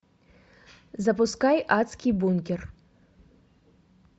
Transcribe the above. запускай адский бункер